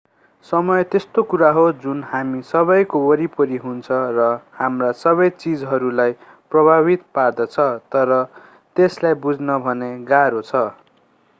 समय त्यस्तो कुरा हो जुन हामी सबैको वरिपरि हुन्छ र हाम्रा सबै चीजहरूलाई प्रभावित पार्दछ तर त्यसलाई बुझ्न भने गाह्रो छ